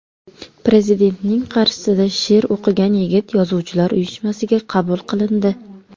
Prezidentning qarshisida she’r o‘qigan yigit Yozuvchilar uyushmasiga qabul qilindi.